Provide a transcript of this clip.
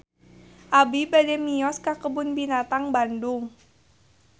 Abi bade mios ka Kebun Binatang Bandung